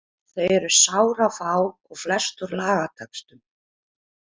Þau eru sárafá og flest úr lagatextum.